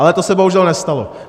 Ale to se bohužel nestalo.